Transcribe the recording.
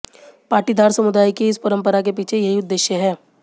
पाटीदार समुदाय की इस परंपरा के पीछे यही उद्देश्य है